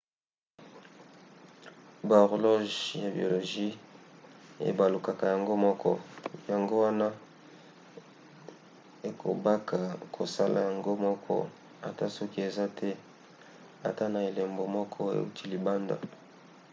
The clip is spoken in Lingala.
bahorloge ya biologie ebalukaka yango moko yango wana ekobaka kosala yango moko ata soki eza te ata na elembo moko euti libanda